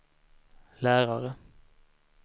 lärare